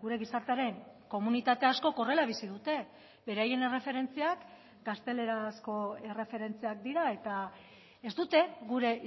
gure gizartearen komunitate askok horrela bizi dute beraien erreferentziak gaztelerazko erreferentziak dira eta ez dute gure